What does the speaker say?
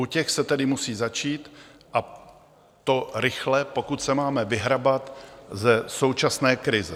U těch se tedy musí začít, a to rychle, pokud se máme vyhrabat ze současné krize.